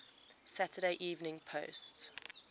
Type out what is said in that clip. saturday evening post